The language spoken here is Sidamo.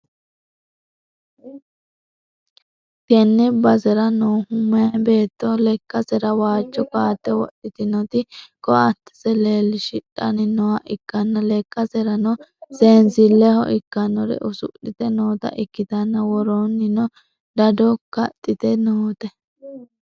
tenne basera noohu meyaa beetto lekkasera waajjo ko'atte wodhitinoti ko'attese leellishidhanni nooha ikkanna, lekkaserano seensileho ikkannore usudhite noota ikkitanna, woroonnino dado kaxxite noote.